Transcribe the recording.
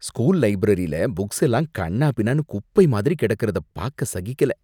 School லைப்ரரியில புக்ஸெல்லாம் கன்னாபின்னான்னு குப்பை மாதிரி கிடக்கிறத பாக்க சகிக்கல.